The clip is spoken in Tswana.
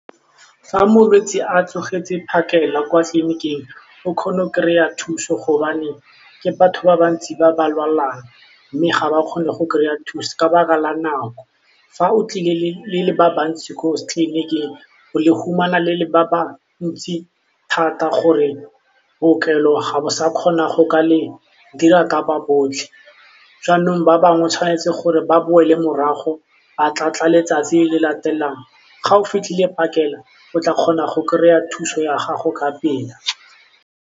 Fa molwetsi a tsogetse phakela kwa tleliniking o kgona go kry-a thuso gobane ke batho ba bantsi ba ba lwalang mme ga ba kgone go kry-a thuso ka 'baka la nako, fa o tlile le le ba bantsi ko tleliniking le le humana le le ba bantsi thata gore bookelo ga bo sa kgona go ka le dira ka ba botlhe, jaanong ba bangwe 'tshwanetse gore ba boele morago ba tla tla letsatsi le latelang ga o fitlhile phakela o tla kgona go kry-a thuso ya gago ka pela.